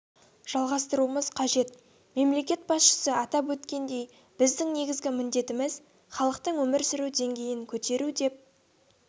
жалғастыруымыз қажет мемлекет басшысы атап өткендей біздің негізгі міндетіміз халықтың өмір сүру деңгейін көтеру деп